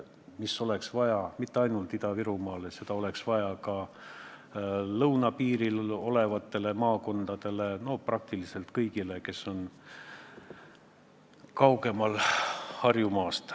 Seda ei oleks vaja arendada mitte ainult Ida-Virumaal, seda oleks vaja teha ka lõunapiiri ääres asuvates maakondades, praktiliselt on seda vaja kõigil, kes on Harjumaast kaugemal.